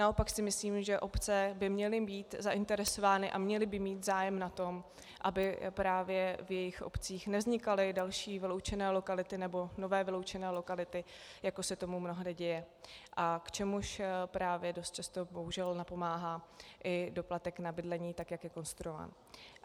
Naopak si myslím, že obce by měly být zainteresovány a měly by mít zájem na tom, aby právě v jejich obcích nevznikaly další vyloučené lokality nebo nové vyloučené lokality, jako se tomu mnohdy děje a k čemuž právě dost často bohužel napomáhá i doplatek na bydlení, tak jak je konstruován.